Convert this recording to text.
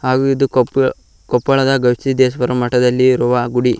ಅದು ಇದು ಕೊಪ್ಪೋ ಕೊಪ್ಪಳದ ಗವಿಸಿದ್ದೇಶ್ವರ ಮಠದಲ್ಲಿ ಇರುವ ಗುಡಿ.